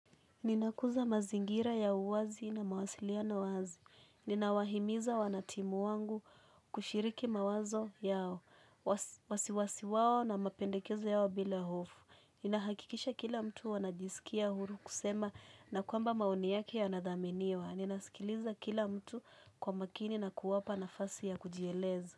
Ninakuza mazingira ya uwazi na mawasiliano wazi. Ninawahimiza wanatimu wangu kushiriki mawazo yao. Wasiwasi wawo na mapendekezo yao bila hofu. Ninahakikisha kila mtu anajisikia huru kusema na kwamba maoni yake ya nathaminiwa. Ninaskiliza kila mtu kwa makini na kuwapa nafasi ya kujieleza.